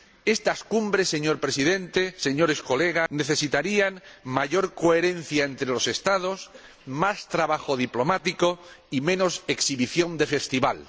Estas cumbres, señor Presidente, Señorías, necesitarían mayor coherencia entre los Estados, más trabajo diplomático y menos exhibición de festival.